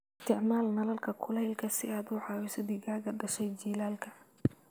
Isticmaal nalalka kulaylka si aad u caawiso digaagga dhashay jiilaalka.